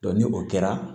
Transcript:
ni o kɛra